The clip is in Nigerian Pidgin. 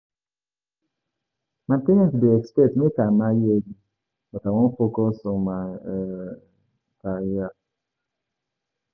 My parents dey expect make I marry early but I wan focus on my um career.